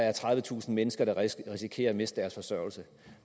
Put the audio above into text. er tredivetusind mennesker der risikerer at miste deres forsørgelse